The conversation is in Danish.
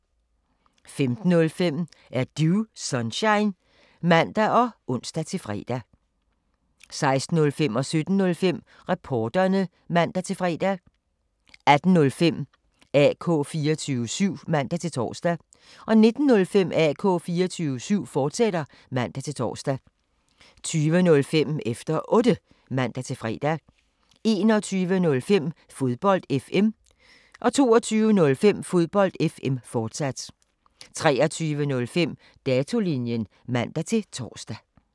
15:05: Er Du Sunshine? (man og ons-fre) 16:05: Reporterne (man-fre) 17:05: Reporterne (man-fre) 18:05: AK 24syv (man-tor) 19:05: AK 24syv, fortsat (man-tor) 20:05: Efter Otte (man-fre) 21:05: Fodbold FM 22:05: Fodbold FM, fortsat 23:05: Datolinjen (man-tor)